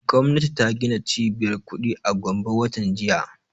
Gwamnati ta gina cibiyar kuɗi a gombe watan jiya